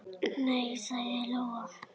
Nei, sagði Lóa.